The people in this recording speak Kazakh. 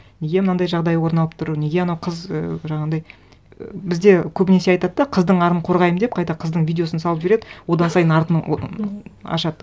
неге мынандай жағдай орын алып тұр неге анау қыз ііі жаңағындай і бізде көбінесе айтады да қыздың арын қорғаймын деп қайта қыздың видеосын салып жібереді одан сайын артын ашады